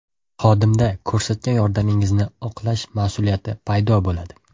Xodimda ko‘rsatgan yordamingizni oqlash mas’uliyati paydo bo‘ladi.